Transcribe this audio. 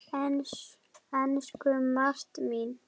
Elsku Marta mín.